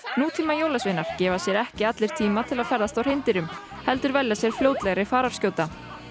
nútíma jólasveinar gefa sér ekki allir tíma til að ferðast á hreindýrum heldur velja sér fljótlegri fararskjóta